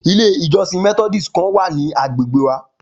Ilé ìjọsìn methodist kan wa ní agbègbè wa